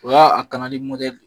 O y'a kanali mɔdɛli.